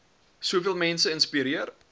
soveel mense inspireer